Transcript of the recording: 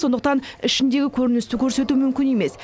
сондықтан ішіндегі көріністі көрсету мүмкін емес